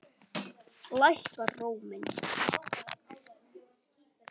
Lækkar róminn.